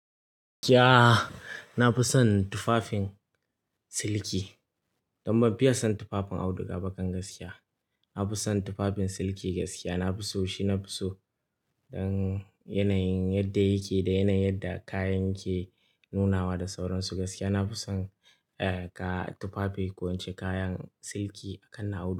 Ya! Na fi son tufafin siliki. Don ban fiya son tufafin auduga ba kan gaskiya. Na fi son tufafin siliki gaskiya, na fi so shi, na fi so don yanayin yadda yake da yanayin yadda kayan yake nunawa da sauransu gaskiya. Na fi son, eh, ka tufafi ko ince kayan siliki a kan na auduga.